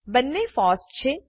બંને ફોસ છે